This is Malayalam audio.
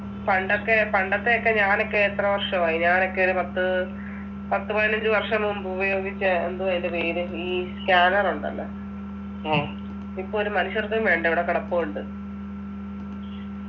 പണ്ടൊക്കെ പണ്ടത്തെ ഒക്കെ ഞാനൊക്കെ എത്ര വർഷമായി ഞാനൊക്കെ ഒരു പത്ത് പത്ത് പതിനഞ്ച് വർഷം മുമ്പ് ഉയോഗിച്ച എന്തുവാ അതിൻ്റെ പേര് ഈ scanner ഉണ്ടല്ലോ ഇപ്പോ ഒരു മനുഷ്യർക്കും വേണ്ട ഇവിടെ കിടപ്പുണ്ട്